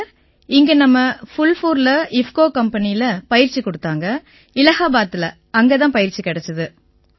பயிற்சி இங்க நம்ம ஃபூல்புர் இஃப்கோ கம்பெனியில குடுத்தாங்க இலாஹாபாதில அங்க தான் பயிற்சி கிடைச்சுது